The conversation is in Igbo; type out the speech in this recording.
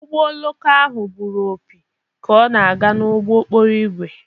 Ụgbọ oloko ahụ gburu opi ka ọ na-aga n'ụgbọ okporo ígwè..